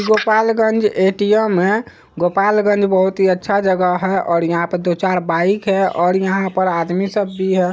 Gopalganj ATM है गोपालगंज बहोत ही अच्छा जगह है और यहाँ पे दो चार बाइक है और यहाँ पर आदमी सब भी है।